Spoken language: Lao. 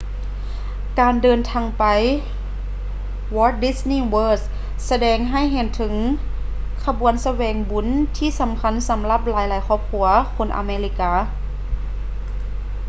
ການເດີນທາງໄປ walt disney world ສະແດງໃຫ້ເຫັນເຖິງຂະບວນສະແຫວງບຸນທີ່ສຳຄັນສຳລັບຫຼາຍໆຄອບຄົວຄົນອາເມລິກາ